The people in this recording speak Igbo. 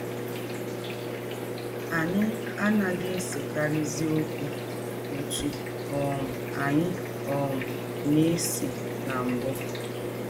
Anyị anaghị esekarịzi ọkwụ ọtụ um anyị um na - ese na mbụ. ”